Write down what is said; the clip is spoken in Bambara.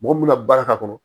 Mɔgɔ min ka baara k'a kɔnɔ